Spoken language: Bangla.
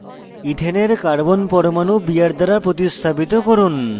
ইথেনের carbon পরমাণু br দ্বারা প্রতিস্থাপিত করুন